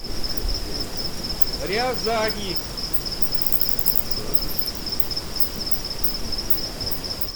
рязани